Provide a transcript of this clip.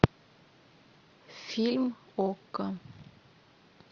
фильм окко